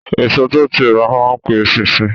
Èso tó ti rà má n pe eṣinṣin